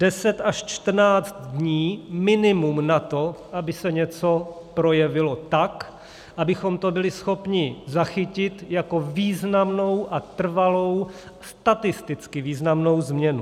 Deset až čtrnáct dní minimum na to, aby se něco projevilo tak, abychom to byli schopni zachytit jako významnou a trvalou, statisticky významnou změnu.